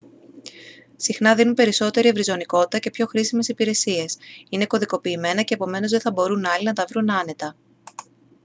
συχνά δίνουν περισσότερη ευρυζωνικότητα και πιο χρήσιμες υπηρεσίες είναι κωδικοποιημένα και επομένως δεν θα μπορούν άλλοι να τα βρουν άνετα